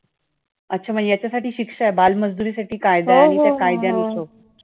अच्छा म्हणजे याच्यासाठी शिक्षा आहे? बालमजुरी साठी कायदा आहे आणि त्या कायद्याने